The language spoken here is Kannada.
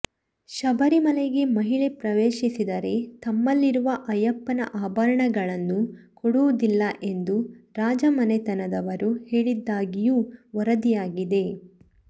ಶಬರಿಮಲೆಗೆ ಮಹಿಳೆ ಪ್ರವೇಶಿಸಿದರೆ ತಮ್ಮಲ್ಲಿರುವ ಅಯ್ಯಪ್ಪನ ಆಭರಣಗಳನ್ನು ಕೊಡುವುದಿಲ್ಲ ಎಂದು ರಾಜಮನೆತನದವರು ಹೇಳಿದ್ದಾಗಿಯೂ ವರದಿಯಾಗಿದೆ